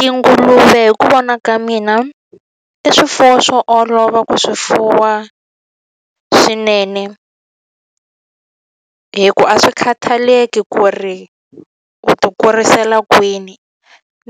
Tinguluve hi ku vona ka mina, i swifuwo swo olova ku swi fuwa swinene. Hikuva a swi khathaleki ku ri u ti kurisela kwini,